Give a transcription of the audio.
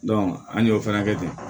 an y'o fana kɛ ten